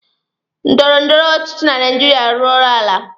Ndọrọ ndọrọ ọchịchị na Naijiria arụrụọla.